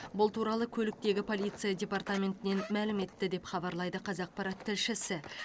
бұл туралы көліктегі полиция департаментінен мәлім етті деп хабарлайды қазақпарат тілшісі